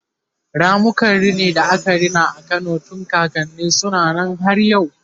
ramukan rini da aka Gina a Kano tun kakanni suna Nan har yau